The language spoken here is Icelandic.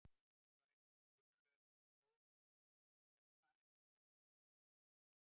Hún var eitthvað svo kunnugleg þessi stórgerða stelpa, en ég kom henni ekki fyrir mig.